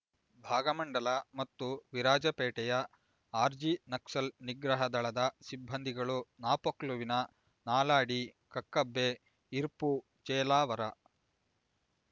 ಭಾಗಮಂಡಲ ಮತ್ತು ವಿರಾಜಪೇಟೆಯ ಆರ್ಜಿ ನಕ್ಸಲ್ ನಿಗ್ರಹ ದಳದ ಸಿಬ್ಬಂದಿಗಳು ನಾಪೋಕ್ಲುವಿನ ನಾಲಾಡಿ ಕಕ್ಕಬ್ಬೆ ಇರ್ಪು ಚೇಲಾವರ